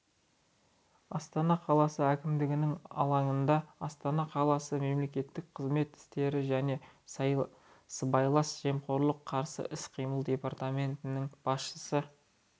астана қаласы әкімдігінің алаңында астана қаласының мемлекеттік қызмет істері және сыбайлас жемқорлыққа қарсы іс-қимыл департаментінің басшысы